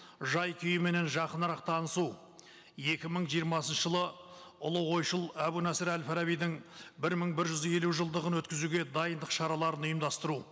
жай күйіменен жақынырақ танысу екі мың жиырмасыншы жылы ұлы ойшыл әбу насыр әл фарабидың бір мың бір жүз елу жылдығын өткізуге дайындық шараларын ұйымдастыру